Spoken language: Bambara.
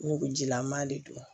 Nugujilama de don